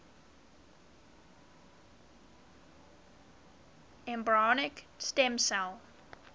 embryonic stem cell